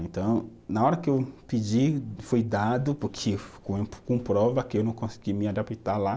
Então, na hora que eu pedi, foi dado, porque ficou com prova que eu não consegui me adaptar lá.